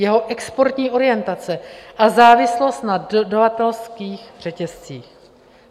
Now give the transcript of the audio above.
Jeho exportní orientace a závislost na dodavatelských řetězcích.